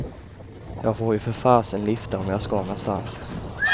Jag får ju för fasen lifta om jag ska någonstans.